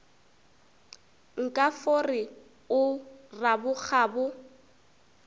nka fo re o rabokgabo